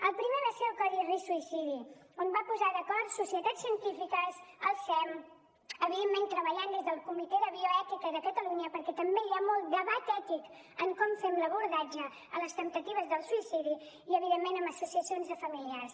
el primer va ser el codi risc suïcidi que va posar d’acord societats científiques el sem evidentment treballant des del comitè de bioètica de catalunya perquè també hi ha molt debat ètic en com fem l’abordatge a les temptatives del suïcidi i evidentment amb associacions de familiars